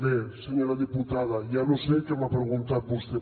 bé senyora diputada ja no sé què m’ha preguntat vostè